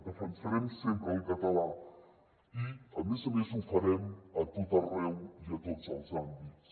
defensarem sempre el català i a més a més ho farem a tot arreu i a tots els àmbits